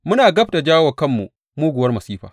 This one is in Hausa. Muna gab da jawo wa kanmu muguwar masifa!